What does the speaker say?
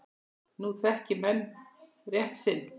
Nú þekki menn rétt sinn.